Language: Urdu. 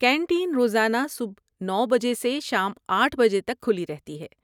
کینٹین روزانہ صبح نو بجے سے شام آٹھ بجے تک کھلی رہتی ہے